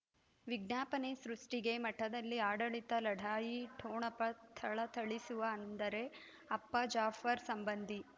ವಿಜ್ಞಾಪನೆ ಸೃಷ್ಟಿಗೆ ಮಠದಲ್ಲಿ ಆಡಳಿತ ಲಢಾಯಿ ಠೊಣಪ ಥಳಥಳಿಸುವ ಅಂದರೆ ಅಪ್ಪ ಜಾಫರ್ ಸಂಬಂಧಿ